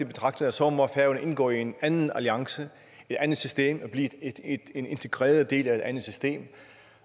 betragtning at så må færøerne indgå i en anden alliance et andet system og blive en integreret del af et andet system